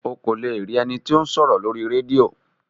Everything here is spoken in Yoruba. O kò le rí ení tí o sòrò Lórí rédíò